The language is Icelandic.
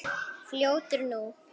Fljótur nú!